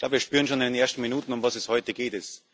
Wir spüren schon in den ersten Minuten, um was es heute geht.